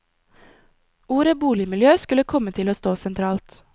Ordet boligmiljø skulle komme til å stå sentralt.